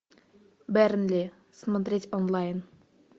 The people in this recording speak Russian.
бернли смотреть онлайн